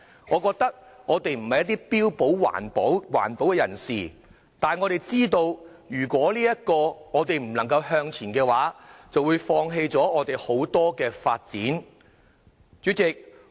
我們不標榜自己為環保人士，但我們知道，如果不向前走的話，便會放棄很多發展機會。